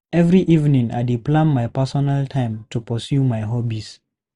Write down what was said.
Every evening, I dey plan my personal time to pursue my hobbies.